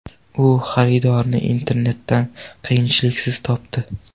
U xaridorni internetdan qiyinchiliksiz topdi.